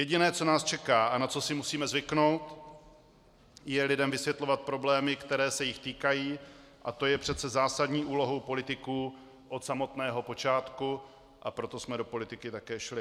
Jediné, co nás čeká a na co si musíme zvyknout, je lidem vysvětlovat problémy, které se jich týkají, a to je přece zásadní úlohou politiků od samotného počátku, a proto jsme to politiky také šli.